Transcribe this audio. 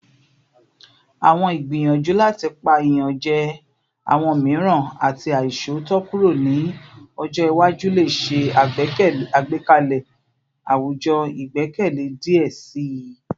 Awọn igbiyanju lati pa iyanjẹ awọn miiran ati aiṣootọ kuro ni ọjọ iwaju le ṣe agbekalẹ awujọ igbẹkẹle diẹ sii